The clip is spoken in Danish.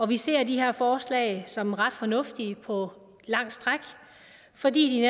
vi ser de her forslag som ret fornuftige på lange stræk fordi de